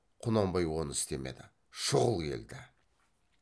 құнанбай оны істемеді шұғыл келді